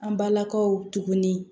An balakaw tuguni